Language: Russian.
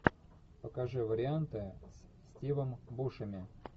покажи варианты с стивом бушеми